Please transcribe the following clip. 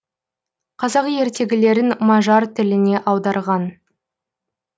қазақ ертегілерін мажар тіліне аударған